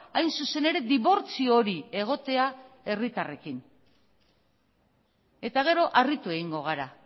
hain zuzen ere dibortzio hori egotea herritarrekin eta gero harritu egingo gara